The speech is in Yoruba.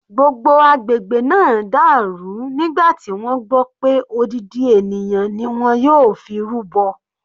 Gbogbo agbègbè náà dàrú nígbà tí wọ́n gbọ́ pé odidi ènìyàn ni wọ́n yóò fi rúbọ.